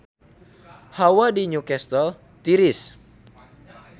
Hawa di Newcastle tiris